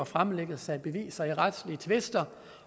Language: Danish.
fremlæggelse af beviser i retslige tvister